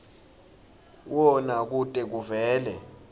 wona kute kuvele